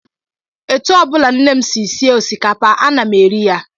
Etu ọ bụla nne m si sie osikapa, ana m eri ya